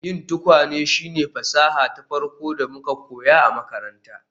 Yin tukwane shine fasaha ta farko da muka koya a makaranta